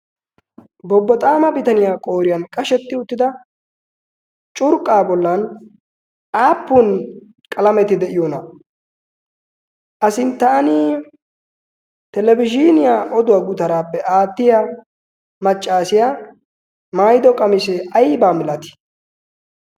bobboxaama bitaniyaa qooriyan qashetti uttida curqqaa bollan aappun qalameti de7iyoona? a sinttaan telebizhiniyaa oduwaa gutaaraappe aattiya maccaasiyaa maido qamisee aibaa milatii?